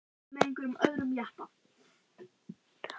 Hann hlaut að hafa farið með einhverjum öðrum jeppa.